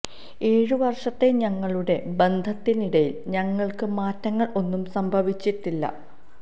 ഏഴ് വര്ഷത്തെ ഞങ്ങളുടെ ബന്ധത്തിനിടയില് ഞങ്ങള്ക്ക് മാറ്റങ്ങള് ഒന്നും സംഭവിച്ചിട്ടില്ല